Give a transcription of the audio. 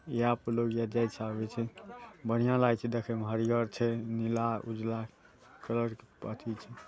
यहाँ पर लोग जाय छै आबे छै बढ़िया लागे छै देखे मे हरियर छै नीला उजला